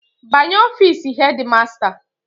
Banye ofiisi hedi masta.